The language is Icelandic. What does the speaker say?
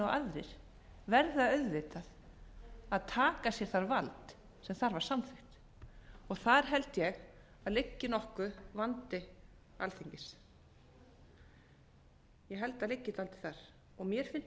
aðrir verða auðvitað að taka sér það vald sem þar var samþykkt og þar held ég að liggi nokkur vandi alþingis ég held að ríkið haldi það og mér fyndist mjög athyglisvert